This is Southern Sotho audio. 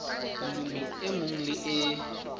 molemi e mong le e